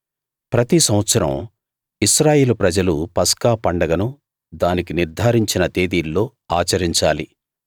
ప్రతి సంవత్సరం ఇశ్రాయేలు ప్రజలు పస్కా పండగను దానికి నిర్ధారించిన తేదీల్లో ఆచరించాలి